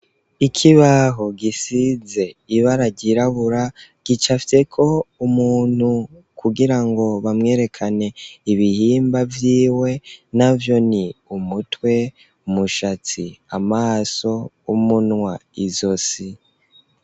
Ikibaho, gisize ibara ryirabura, gicafyeko umuntu, kugira ngo, bamwerekane, ibihimba vyiwe; navyo ni: umutwe, umushatsi, amaso, umunwa, izosi.